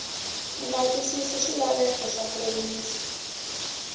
nga twisisi swilaveko swa nkomiso